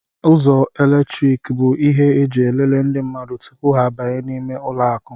Ụzọ eletriki bụ ihe eji elele ndị mmadụ tụpụ ha abanye n' ímé ụlọ akụ.